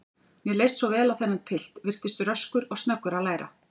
Mér leist svo vel á þennan pilt, virtist röskur og snöggur að læra.